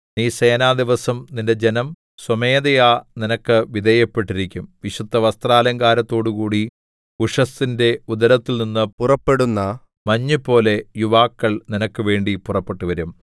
നീ സേനാദിവസം നിന്റെ ജനം സ്വമേധയാ നിനക്ക് വിധേയപ്പെട്ടിരിക്കും വിശുദ്ധ വസ്ത്രാലങ്കാരത്തോടുകൂടി ഉഷസ്സിന്റെ ഉദരത്തിൽനിന്ന് പുറപ്പെടുന്ന മഞ്ഞുപോലെ യുവാക്കൾ നിനക്കുവേണ്ടി പുറപ്പെട്ടുവരും